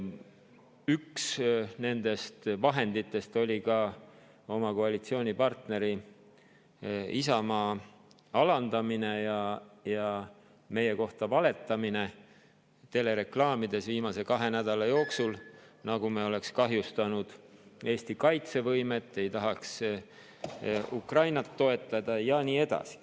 Üks nendest vahenditest oli ka oma koalitsioonipartneri Isamaa alandamine ja meie kohta valetamine telereklaamides viimase kahe nädala jooksul, nagu me oleks kahjustanud Eesti kaitsevõimet, ei taha Ukrainat toetada ja nii edasi.